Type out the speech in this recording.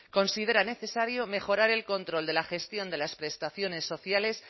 considera necesario mejorar el control de la gestión de las prestaciones sociales